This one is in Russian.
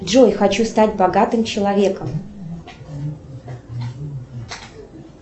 джой хочу стать богатым человеком